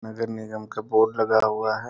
नगर निगम का बोर्ड लगा हुआ है।